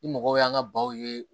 Ni mɔgɔw y'an ka baw ye